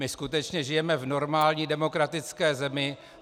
My skutečně žijeme v normální demokratické zemi.